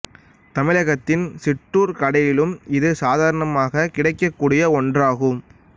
தமிழகத்தின் சிற்றூர்க் கடைகளிலும் இது சாதாரணமாகக் கிடைக்கக் கூடிய ஒன்றாகும்